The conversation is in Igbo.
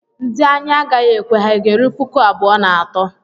Ndị anyị a gaghị ekwe ha ga-eru puku abụọ na atọ?